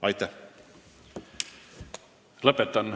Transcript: Aitäh!